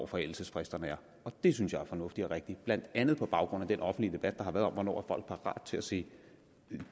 forældelsesfristerne og det synes jeg er fornuftigt og rigtigt blandt andet på baggrund af den offentlige debat der har været om hvornår folk er parat til at se